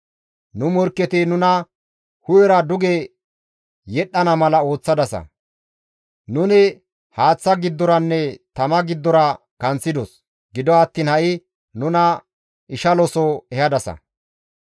Nu morkketi nuna hu7era duge yedhdhana mala ooththadasa; nuni haaththa giddoranne tama giddora kanththidos; gido attiin ha7i nuna ishalo soho ehadasa.